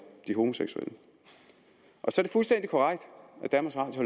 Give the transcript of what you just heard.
de homoseksuelle så